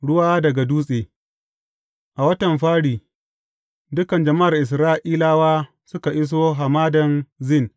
Ruwa daga dutse A watan fari, dukan jama’ar Isra’ilawa suka iso Hamadan Zin.